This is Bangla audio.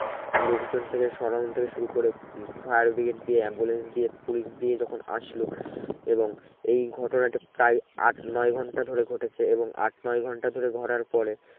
লোক জন থেকে সরানো থেকে শুরু করে fire brigade দিয়ে ambulance দিয়ে পুলিশ দিয়ে যখন আসলো এবং এই ঘটনাটি প্রায় আট নয় ঘন্টা ধরে ঘটেছে এবং আট নয় ঘন্টা ঘটার পরে